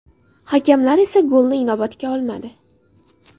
Hakamlar esa golni inobatga olmadi.